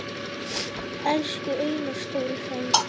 Elsku Einar stóri frændi.